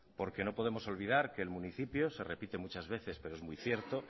porque no podemos olvidar que el municipio se repite muchas veces pero es muy cierto